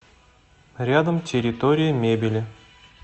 рядом территория мебели